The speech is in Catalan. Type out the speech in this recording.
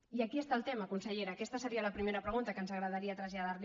i aquí està el tema consellera aquesta seria la primera pregunta que ens agradaria traslladarli